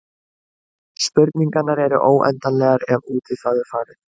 Spurningarnar eru óendanlegar ef út í það er farið.